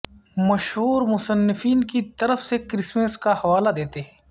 مشہور مصنفین کی طرف سے کرسمس کا حوالہ دیتے ہیں